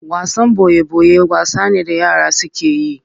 Wasan boye boye wasa ne da yara suke yi.